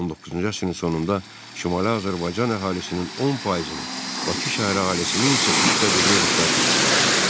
19-cu əsrin sonunda Şimali Azərbaycan əhalisinin 10%-ni, Bakı şəhəri əhalisinin isə üçdə birini ruslar təşkil edirdilər.